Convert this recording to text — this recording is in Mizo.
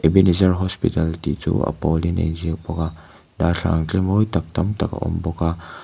ebenezer hospital tih chu a pawlin a inziak bawk a darthlalang tlemawitak tamtak a awm bawk a--